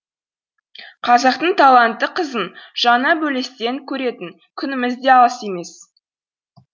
қазақтың талантты қызын жаңа бөлестен көретін күніміз де алыс емес